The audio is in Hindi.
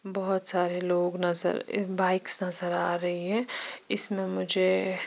बहोत सारे लोग नज़र ऐ बाइक्स नज़र आरही है इसमे मुझे--